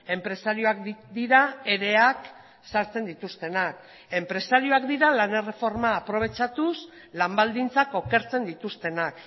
enpresariak dira ereak sartzen dituztenak enpresariak dira lan erreforma aprobetxatuz lan baldintzak okertzen dituztenak